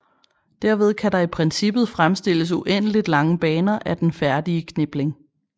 Derved kan der i princippet fremstilles uendeligt lange baner af den færdige knipling